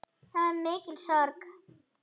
Það var mikil sorg.